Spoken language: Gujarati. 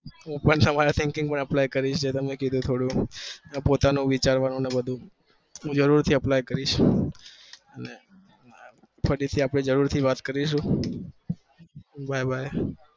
હું પણ તમારું કીધે લુ યાદ રાખે ક આવજો